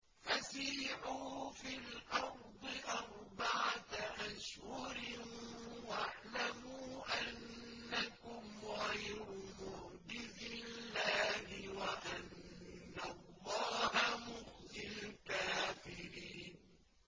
فَسِيحُوا فِي الْأَرْضِ أَرْبَعَةَ أَشْهُرٍ وَاعْلَمُوا أَنَّكُمْ غَيْرُ مُعْجِزِي اللَّهِ ۙ وَأَنَّ اللَّهَ مُخْزِي الْكَافِرِينَ